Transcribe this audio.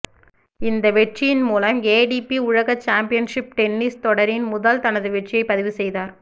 இந்த வெற்றியின் மூலம் ஏடிபி உலக சாம்பியன்ஷிப் டென்னிஸ் தொடரின் முதல் தனது வெற்றியை பதிவு செய்தார்